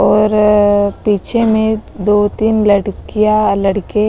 और पीछे में दो-तीन लड़कियाँ लड़के--